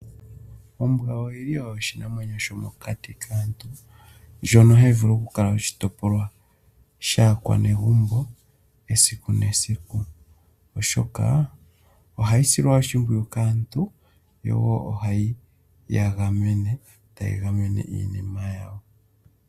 Ombwa oyi li oyo oshinamwenyo shomokati kaantu, ndjono hayi vulu okukala oshitopolwa shaakwanegumbo esiku nesiku, oshoka ohayi silwa oshimpwiyu kaantu, yo wo ohayi ya gamene, tayi gamene iinima yawo.